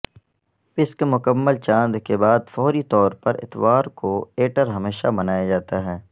پسک مکمل چاند کے بعد فوری طور پر اتوار کو ایٹر ہمیشہ منایا جاتا ہے